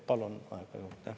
Palun aega juurde.